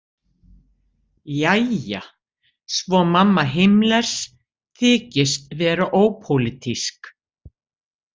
Jæja, svo mamma Himmlers þykist vera ópólitísk.